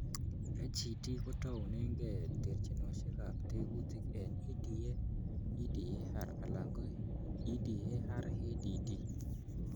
HED kotounengei terchinosiekab tekutik en EDA, EDAR, alan EDARADD.